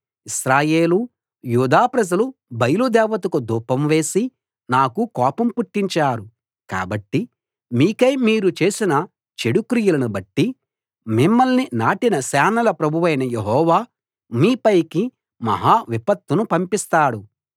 ఇశ్రాయేలు యూదా ప్రజలు బయలు దేవతకు ధూపం వేసి నాకు కోపం పుట్టించారు కాబట్టి మీకై మీరు చేసిన చెడు క్రియలను బట్టి మిమ్మల్ని నాటిన సేనల ప్రభువైన యెహోవా మీపైకి మహా విపత్తును పంపిస్తాడు